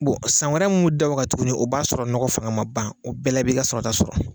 Bon san wɛrɛ minnu bɛ da o kan tuguni o b'a sɔrɔ nɔgɔ fanga ma ban, o bɛɛla i bi ka sɔrɔrta sɔrɔ!